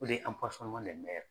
O de ye